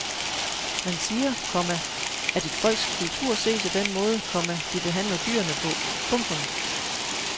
Man siger, komma at et folks kultur ses af den måde, komma de behandler dyrene på. punktum